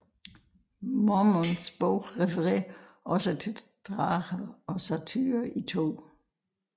Mormons Bog refererer også til drager og satyrer i 2